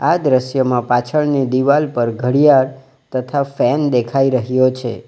આ દ્રશ્યમાં પાછળની ડિવાલ પર ઘડિયાળ તથા ફેન દેખાઈ રહ્યો છે.